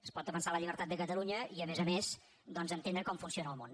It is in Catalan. es pot defensar la llibertat de catalunya i a més a més doncs entendre com funciona el món